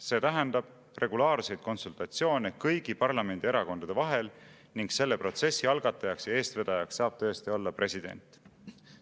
See tähendab regulaarseid konsultatsioone kõigi parlamendierakondade vahel ning selle protsessi algatajaks ja eestvedajaks saab tõesti olla president.